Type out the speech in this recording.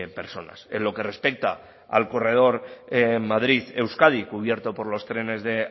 personas en lo que respecta al corredor en madrid euskadi cubierto por los trenes de